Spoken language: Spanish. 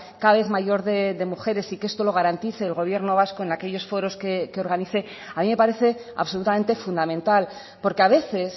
cada vez mayor de mujeres y que esto lo garantice el gobierno vasco en aquellos foros que organice a mí me parece absolutamente fundamental porque a veces